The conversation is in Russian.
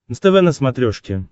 нств на смотрешке